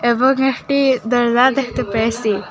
এবং একটি দরজা দেখতে পেয়েছি।